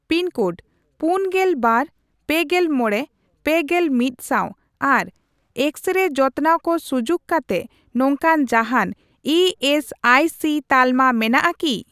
Pin code ᱯᱩᱱᱜᱮᱞ ᱵᱟᱨ, ᱯᱮᱜᱮᱞ ᱢᱚᱲᱮ, ᱯᱮᱜᱮᱞ ᱢᱤᱫ ᱥᱟᱣ ᱟᱨ ᱮᱠᱥᱼᱨᱮᱭ ᱡᱚᱛᱱᱟᱣ ᱠᱚ ᱥᱩᱡᱩᱠ ᱠᱟᱛᱮ ᱱᱚᱝᱠᱟᱱ ᱡᱟᱦᱟᱱ ᱤ ᱮᱥ ᱟᱭ ᱥᱤ ᱛᱟᱞᱢᱟ ᱢᱮᱱᱟᱜ ᱟᱠᱤ ?